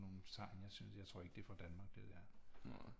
Nogen tegn jeg synes jeg tror ikke det er fra Danmark det der